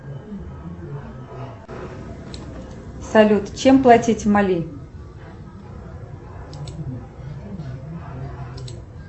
салют чем платить в мали